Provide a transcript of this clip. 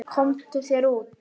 Komdu þér út.